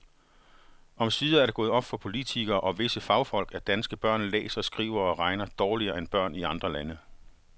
Omsider er det gået op for politikere og visse fagfolk, at danske børn læser, skriver og regner dårligere end børn i andre lande.